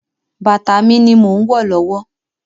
Bàtà mi ni mò ń wọ̀ lọ́wọ́.